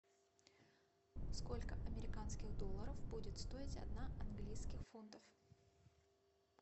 сколько американских долларов будет стоить одна английских фунтов